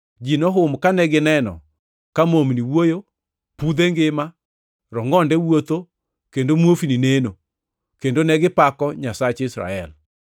Ji nohum kane gineno ka momni wuoyo, pudhe ngima, rongʼonde wuotho, kendo muofni neno, kendo negipako Nyasach Israel.